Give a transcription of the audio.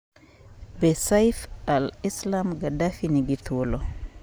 Be Saif al-Islam Gaddafi ni thuolo?